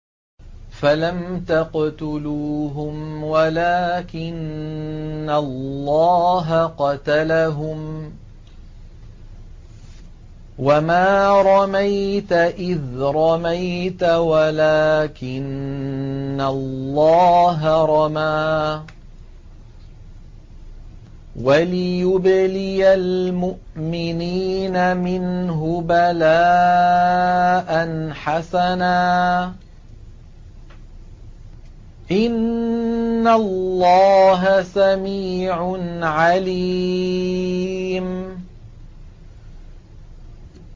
فَلَمْ تَقْتُلُوهُمْ وَلَٰكِنَّ اللَّهَ قَتَلَهُمْ ۚ وَمَا رَمَيْتَ إِذْ رَمَيْتَ وَلَٰكِنَّ اللَّهَ رَمَىٰ ۚ وَلِيُبْلِيَ الْمُؤْمِنِينَ مِنْهُ بَلَاءً حَسَنًا ۚ إِنَّ اللَّهَ سَمِيعٌ عَلِيمٌ